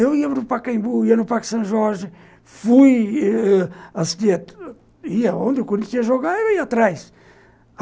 Eu ia no Pacaembu, ia no Parque São Jorge, fui cidade onde o Corinthians ia jogar e ia atrás.